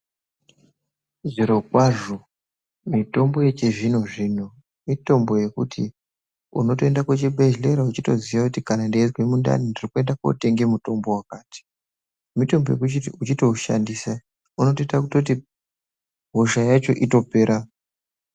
Zviro kwazvo mitombo yechizvino zvino mitombo yekuti unotoenda kuchibhedhlera weiziva kuti ndikuenda kotenga mitombo yakati mitombo yekuti uchirishandisa unoita kuti hosha ipere.